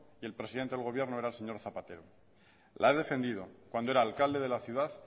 y el presidente del gobierno era el señor zapatero la he defendido cuando era alcalde de la ciudad